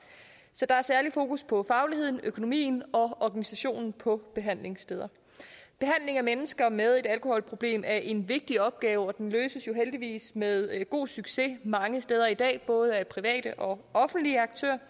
så der er særlig fokus på fagligheden økonomien og organisationen på behandlingssteder behandling af mennesker med et alkoholproblem er en vigtig opgave og den løses jo heldigvis med god succes mange steder i dag både af private og offentlige aktører